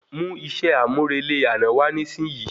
Mú iṣẹ àmúrelé àná wa nisin yi